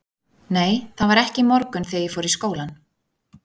Nei, það var ekki í morgun þegar ég fór í skólann.